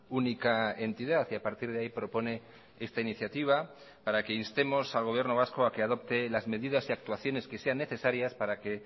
única entidad y a partir de ahí propone esta iniciativa para que instemos al gobierno vasco a que adopte las medidas y actuaciones que sean necesarias para que